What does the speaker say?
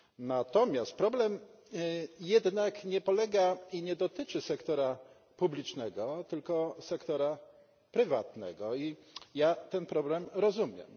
Natomiast problem jednak nie polega i nie dotyczy sektora publicznego, tylko sektora prywatnego, i ja ten problem rozumiem.